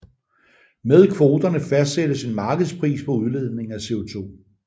Med kvoterne fastsættes en markedspris på udledningen af CO2